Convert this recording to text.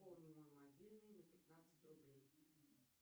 пополни мой мобильный на пятнадцать рублей